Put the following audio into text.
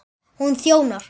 Hún þjónar